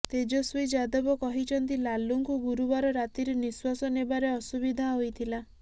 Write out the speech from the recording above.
ତେଜସ୍ୱି ଯାଦବ କହିଛନ୍ତି ଲାଲୁଙ୍କୁ ଗୁରୁବାର ରାତିରୁ ନିଶ୍ୱାସ ନେବାରେ ଅସୁବିଧା ହୋଇଥିଲା